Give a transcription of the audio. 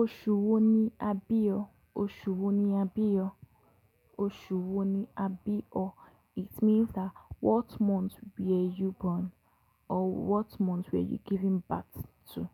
Osu wo ni a bi o? Osu wo ni a bi o? Osu wo ni a bi o? It means that what month were you born or what month were you given birth to?